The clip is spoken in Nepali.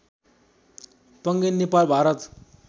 पङ्गेनी नेपाल भारत